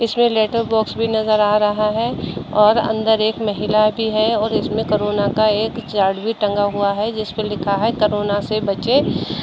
इसमें letter box भी नजर आ रहा है और अंदर एक महिला भी है और इसमे करोना का एक चैट भी टंगा हुआ है जिस पे लिखा है करोना से बचें।